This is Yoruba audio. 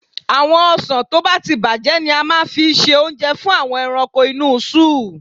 Àwọn ọsàn tó bá ti bàjẹ́ ni a máa fi ṣe oúnjẹ fún àwọn ẹranko inú sóò.